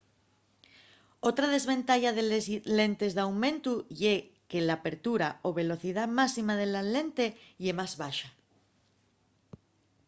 otra desventaya de les lentes d'aumentu ye que l'apertura o velocidá máxima de la lente ye más baxa